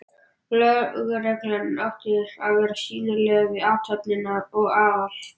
Lögreglan átti að vera sýnileg við athöfnina og Aðal